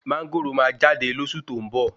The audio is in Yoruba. Máńgòrò máa jáde lósù tó ń bọ